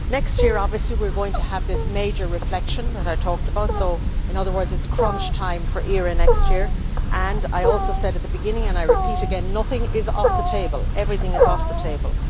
Next year, obviously, we are going to have this major reflection that I talked about, so in other words it is crunch time for ERA next year and as I said at the beginning and I repeat again nothing is off the table, everything is on the table.